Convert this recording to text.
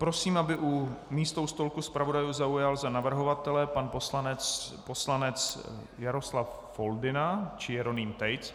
Prosím, aby místo u stolku zpravodajů zaujal za navrhovatele pan poslanec Jaroslav Foldyna či Jeroným Tejc.